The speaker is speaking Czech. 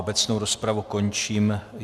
Obecnou rozpravu končím.